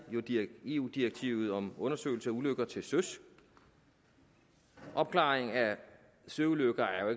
jo eu direktivet om undersøgelse af ulykker til søs opklaring af søulykker er jo